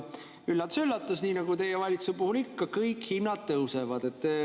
Üllatus-üllatus, nii nagu teie valitsuse puhul ikka, kõik hinnad tõusevad.